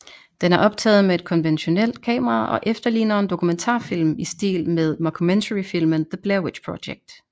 Den er optaget med et konventionelt kamera og efterligner en dokumentarfilm i stil med mockumentaryfilmen The Blair Witch Project